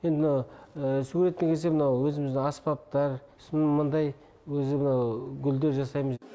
енді мына суретке келсем мынау өзіміздің аспаптар сосын мындай өзі мынау гүлдер жасаймыз